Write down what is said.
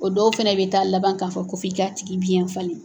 O dɔw fɛnɛ bɛ taa laban k'a fɔ ko f'i k'a tigi biyɛn falen.